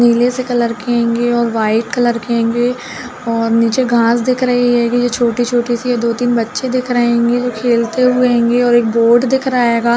नीले से कलर के हेंगे और व्हाइट कलर के हेंगे और नीचे घाँस दिख रही हेंगी। छोटी-छोटी सी है। दो-तीन बच्चे दिख रहे हेंगे वो खेलते हुए हेंगे और एक बोर्ड दिख रहा हेगा।